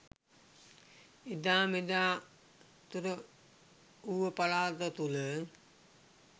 එදා මෙදා තුර ඌව පළාත තුළ